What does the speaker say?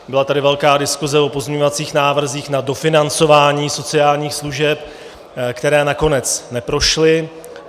Byla tady velká diskuse o pozměňovacích návrzích na dofinancování sociálních služeb, které nakonec neprošly.